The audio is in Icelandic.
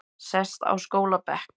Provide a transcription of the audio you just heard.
Sest á skólabekk